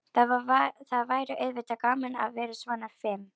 Það væri auðvitað gaman að vera svona fim.